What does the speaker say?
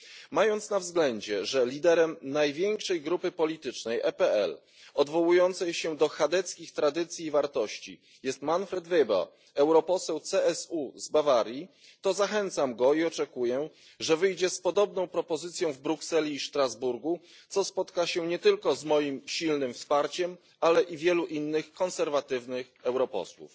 Mając na względzie, że liderem największej grupy politycznej EPL, odwołującej się do chadeckich tradycji i wartości, jest Manfred Weber, europoseł CSU z Bawarii, zachęcam go i oczekuję, że wyjdzie z podobną propozycją w Brukseli i Strasburgu, co spotka się nie tylko z moim silnym wsparciem, ale i wielu innych konserwatywnych europosłów.